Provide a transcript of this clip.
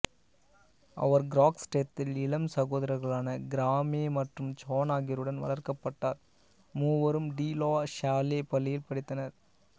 அவர் கிராக்ஸ்டெத்தில் இலம் சகோதரர்களான கிராமே மற்றும் ஜான் ஆகியோருடன் வளர்க்கப்பட்டார் மூவரும் டி லா சால்லே பள்ளியில் படித்தனர்